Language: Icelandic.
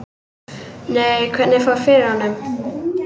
Nei, hvernig fór fyrir honum?